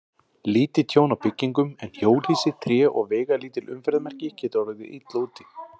Lítið tjón á byggingum, en hjólhýsi, tré og veigalítil umferðarmerki geta orðið illa úti.